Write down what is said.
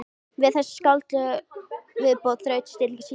Við þessa skáldlegu viðbót þraut stilling Símonar.